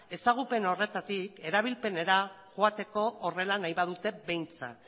ezagupen horretatik erabilpenera joateko horrela nahi badute behintzat